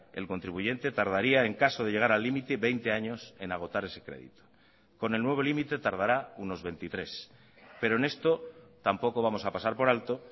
el contribuyente tardaría en caso de llegar al límite veinte años en agotar ese crédito con el nuevo límite tardará unos veintitrés pero en esto tampoco vamos a pasar por alto